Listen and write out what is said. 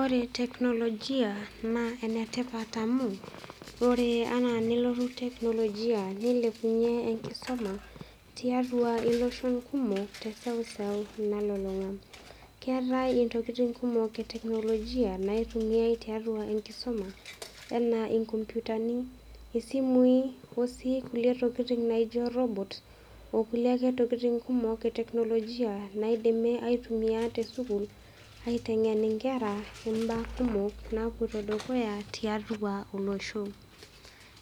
Ore teknolojia naa enetipat amu ore enaa nelotu teknolojia nilepunyie enkisuma tiatua iloshon kumok teseuseu nalulunga. Keetae ntokitin kumok eteknolojia naitumiay tiatua enkisuma enaa inkomputani, isimui , osii kulie tokitin naijo robot ,okulie ake tokitin eteknolojia naidimi aituamia tesukul aitengen inkera imbaa kumok napoito dukuya tiatua olosho